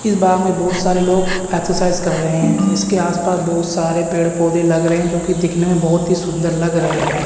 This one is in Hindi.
इस बाग में बहुत सारे लोग एक्सरसाइज कर रहे हैं इसके आस पास बहुत सारे पेड़ पौधे लग रहे हैं जोकि दिखने में बहुत ही सुंदर लग रहे हैं।